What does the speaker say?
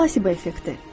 Plasebo effekti.